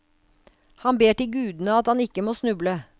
Han ber til gudene at han ikke må snuble.